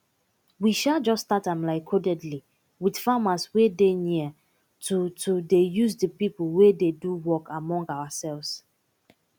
we um jus start am like codedly with farmers wey dey near to to dey use de pipo wey dey do work among oursefs